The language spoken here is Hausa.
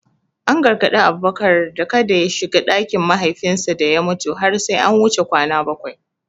An gargadi Abubakar da kada ya shiga ɗakin mahaifinsa da ya mutu har sai an wuce kwana bakwai.